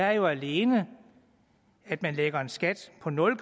er jo alene at man lægger en skat på nul